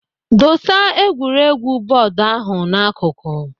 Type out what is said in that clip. Dosa egwuregwu bọọdu ahụ n'akụkụ.